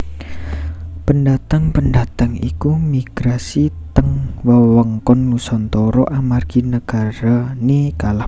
Pendatang pendatang iku migrasi teng wewengkon Nusantara amargi nagarane kalah perang